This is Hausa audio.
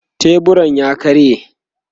teburun ya karye